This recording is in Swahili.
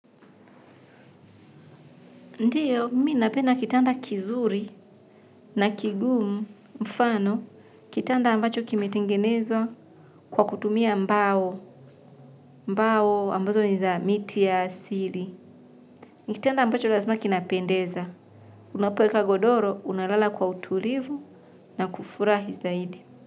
Ndiyo, mimi napenda kitanda kizuri na kigumu, mfano, kitanda ambacho kimetengenezwa kwa kutumia mbao, mbao ambazo ni za miti ya asili. Kitanda ambacho lazima kinapendeza. Unapoeka godoro, unalala kwa utulivu na kufurahi zaidi.